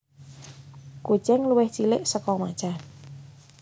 Kucing luwih cilik saka macan